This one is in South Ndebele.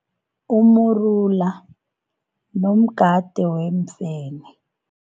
Umrula nomgade weemfene.